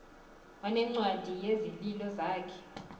wanencwadi yezililo zakhe